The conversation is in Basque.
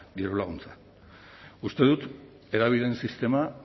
dirulaguntza uste dut hedabideen sistema